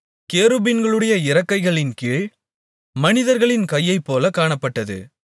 கேருபீன்களுடைய இறக்கைகளின்கீழ் மனிதர்களின் கையைப் போல காணப்பட்டது